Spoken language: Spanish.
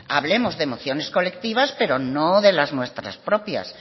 hablemos de emociones colectivas pero no de las nuestras propias